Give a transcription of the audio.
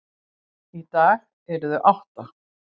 Í dag eru þau átta.